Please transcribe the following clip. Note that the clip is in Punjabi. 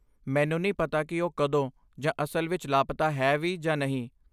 ਮੈਨੂੰ ਨਹੀਂ ਪਤਾ ਕਿ ਉਹ ਕਦੋਂ ਜਾਂ ਅਸਲ ਵਿੱਚ ਲਾਪਤਾ ਹੈ ਵੀ ਜਾਂ ਨਹੀਂ।